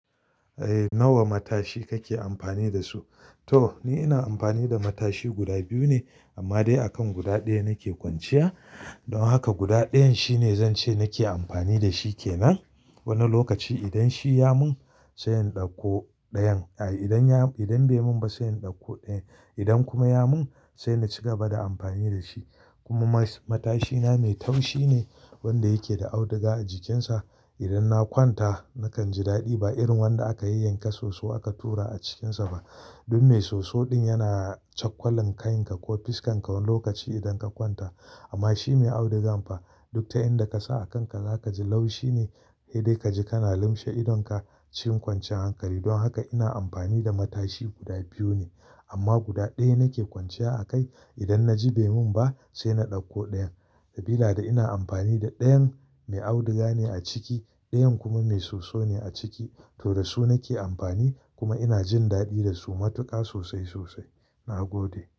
Eh, nawa matashi kake amfani da su? To ni ina amfani da matashi guda biyu ne amma dai akan guda ɗaya nake kwanciya. Don haka guda ɗayan shine zance nake amfani da shi kenan. Wani lokaci idan shi ya mun sai in ɗauko ɗayan. Ai idan ya, idan bai mun ba sai in ɗauko ɗayan. Idan kuma ya mun sai in ci gaba da amfani da shi. Kuma ma matashi na mai taushine wanda yake da auduga a jikin sa. Idan na kwanta nakan ji daɗi ba irin wanda aka yay yanka soso aka tura a cikinsa ba. Duk mai soso ɗin yana cakwalan kayan ka ko fuskan ka wani lokaci idan ka kwanta. Amma shi mai audugan fa duk ta inda ka sa a kanka zaka ji laushi ne. He dai kaji kana lumshe idonka cikin kwanciyar hankali. Don haka ina amfani da matashi guda biyu ne amma guda ɗaya nake kwanciya a kai. Idan naji baimin ba sai na dauko dayan, sabila da ina da dayan mai auduga ne a ciki dayan kuma mai soso ne aciki to da su nake amfani kuma ina jin daɗi da su matuƙa sosai sosai. Na gode.